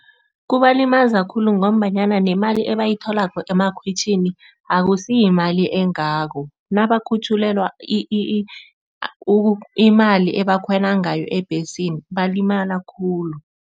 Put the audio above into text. Kubalimaza khulu ngombanyana nemali ebayitholako amakhwitjhini akusiyimali engako. Nabakhutjhulelwa imali ebakhwela ngayo ebhesini balimala khulu.